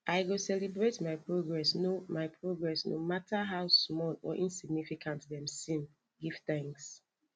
i go celebrate my progress no my progress no matter how small or insignificant dem seem give thanks